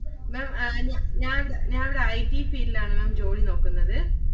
Maám ഞാൻ ഒരു ~ ഞാൻ ഒരു IT field ഇലാണ് Maám ജോലി നോക്കുന്നത്.